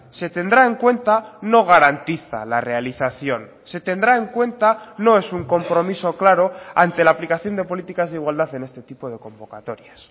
se tendrá en cuenta no garantiza la realización se tendrá en cuenta no es un compromiso claro ante la aplicación de políticas de igualdad en este tipo de convocatorias